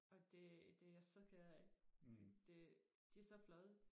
og det det er jeg så ked af for det de er så flotte